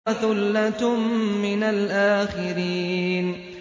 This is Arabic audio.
وَثُلَّةٌ مِّنَ الْآخِرِينَ